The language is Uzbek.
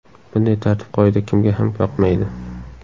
Bunday tartib-qoida kimga ham yoqmaydi!